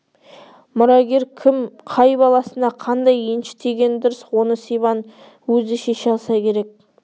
мұрагер кім қай баласына қандай енші тигені дұрыс оны сибан өзі шеше алса керек